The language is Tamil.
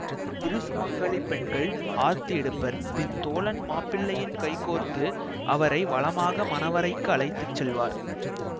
இரு சுமங்கலிப் பெண்கள் ஆர்த்தி எடுப்பர் பின் தோழன் மாப்பிள்ளையின் கைகோர்த்து அவரை வலமாக மணவறைக்கு அழைத்து செல்வார்